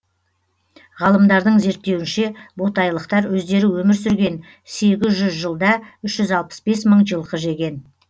ғалымдардың зерттеуінше ботайлықтар өздері өмір сүрген сегіз жүз жылда үш жүз алпыс бес мың жылқы жеген